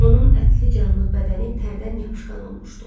Onun ətli-canlı bədəni tərdən yapışqan olmuşdu.